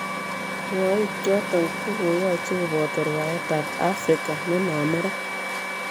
Rwoik choton kokoyoche koboto rwaet tab Afrika nenome ra.